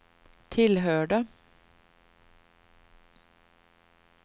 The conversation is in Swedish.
tillhörde